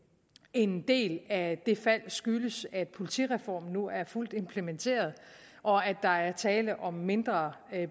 en del af det fald skyldes at politireformen nu er fuldt implementeret og at der er tale om mindre